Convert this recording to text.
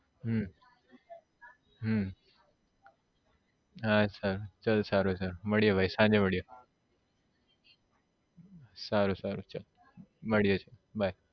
હમ હમ હા અચ્છા ચલ સારું છે મળીયે ભાઈ સાંજે મળીયે સારું સારું ચલ મળીયે by